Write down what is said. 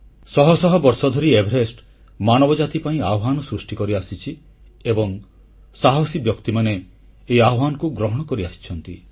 ଶହ ଶହ ବର୍ଷଧରି ଏଭରେଷ୍ଟ ମାନବ ଜାତି ପାଇଁ ଆହ୍ୱାନ ସୃଷ୍ଟି କରିଆସିଛି ଏବଂ ସାହସୀ ବ୍ୟକ୍ତିମାନେ ଏହି ଆହ୍ୱାନକୁ ଗ୍ରହଣ କରିଆସିଛନ୍ତି